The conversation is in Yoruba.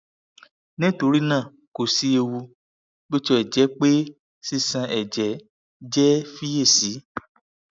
nitorina ko si ewu bi o ti jẹ pe sisan ẹjẹ jẹ fiyesi